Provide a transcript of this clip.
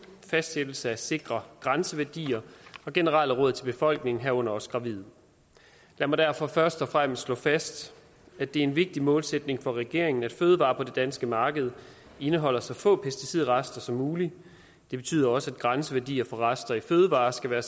fastsættelse af sikre grænseværdier og generelle råd til befolkningen herunder også gravide lad mig derfor først og fremmest slå fast at det er en vigtig målsætning for regeringen at fødevarer på det danske marked indeholder så få pesticidrester som muligt det betyder også at grænseværdier for rester i fødevarer skal være